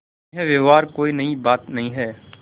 यह व्यवहार कोई नई बात नहीं है